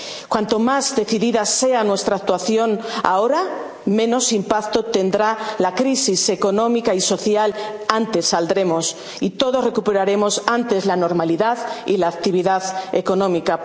subsistir. Cuanto más decidida sea nuestra actuación ahora, menos impacto tendrá la crisis económica y social, antes saldremos, y todos recuperaremos antes la normalidad y la actividad